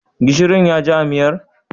Gishirin ya ji a miyar?